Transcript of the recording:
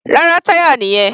Rárá, táyà nìyẹn.